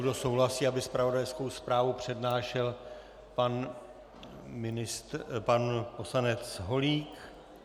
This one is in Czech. Kdo souhlasí, aby zpravodajskou zprávu přednášel pan poslanec Holík.